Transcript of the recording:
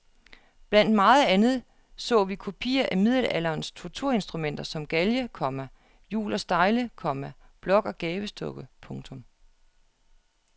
Blandt meget andet så vi kopier af middelalderens torturinstrumenter som galge, komma hjul og stejle, komma blok og gabestokke. punktum